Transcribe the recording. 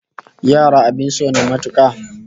Yara abin so ne matuka